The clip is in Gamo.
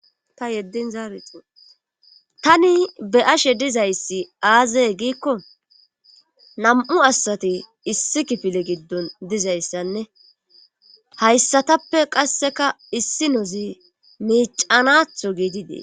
Ta yeddin zaarixi tani be ashe dizayssi aazee giikko nam'u asati issi kifile giddon dizayssanne hayssatappe qasseka issi nozi miicanatho giidi dee